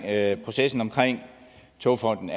at processen omkring togfonden